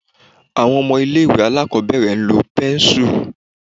Àwọn ọmọ ilé ìwé aláàkọ́bẹ̀rẹ̀ ń lo pẹ́nsù